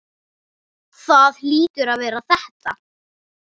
Það hlýtur að vera þetta.